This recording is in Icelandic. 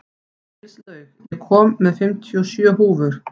Gilslaug, ég kom með fimmtíu og sjö húfur!